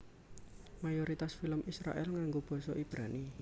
Mayoritas film Israèl nganggo basa Ibrani